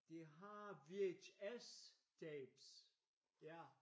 De har VHS tapes ja